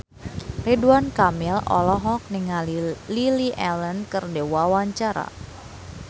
Ridwan Kamil olohok ningali Lily Allen keur diwawancara